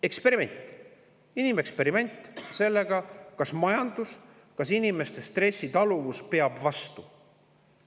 Eksperiment,, kas majandus peab vastu ja inimeste stressitaluvus.